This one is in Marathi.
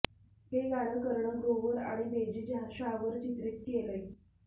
हे गाणं करण ग्रोव्हर आणि डेजी शाहवर चित्रित केलंय